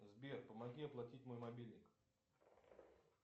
сбер помоги оплатить мой мобильник